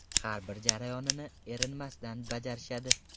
Har bir jarayonini erinmasdan bajarishadi.